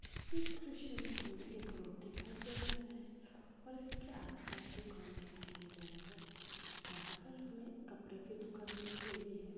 इस दृश्य मे हमे एक रोड दिखाई दे रहा है और उसके आस-पास दुकान दिखाई दे रहे है यहा पर हमे कपड़े की दुकान दिख रही है।